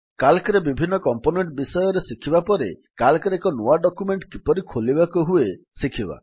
Calcରେ ବିଭିନ୍ନ କମ୍ପୋନେଣ୍ଟ ବିଷୟରେ ଶିଖିବା ପରେ Calcରେ ଏକ ନୂଆ ଡକ୍ୟୁମେଣ୍ଟ କିପରି ଖୋଲିବାକୁ ହୁଏ ଶିଖିବା